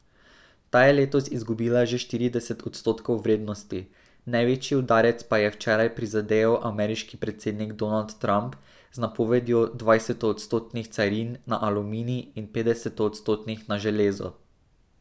Ta je letos izgubila že štirideset odstotkov vrednosti, največji udarec pa ji je včeraj prizadejal ameriški predsednik Donald Trump z napovedjo dvajsetodstotnih carin na aluminij in petdesetodstotnih na železo.